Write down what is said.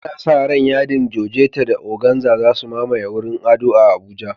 Ana sa ran yadin Georgette da organza za su mamaye wurin ado a Abuja.